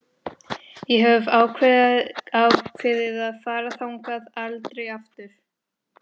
Ég hef ákveðið að fara þangað aldrei aftur.